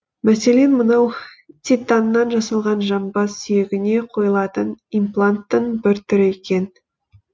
мәселен мынау титаннан жасалған жамбас сүйегіне қойылатын импланттың бір түрі екен